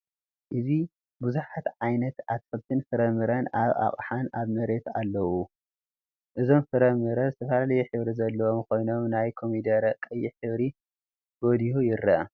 እዚ ብዙሓት ዓይነት አትክልትን ፍረ ምረን አብ አቅሓን አብ መሬትን አለዉ፡፡ እዞም ፍረ ምረ ዝተፈላለየ ሕብሪ ዘለዎም ኮይኖም ናይ ኮሚደረ ቀይሕ ሕብሪ ጎሊሁ ይረአ፡፡